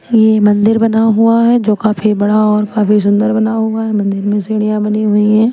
ये मंदिर बना हुआ है जो काफी बड़ा और काफी सुंदर बना हुआ है मंदिर में सीढ़ियां बनी हुई हैं।